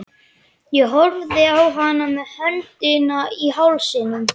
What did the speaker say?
Ég horfði á hana með öndina í hálsinum.